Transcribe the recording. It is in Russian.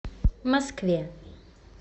москве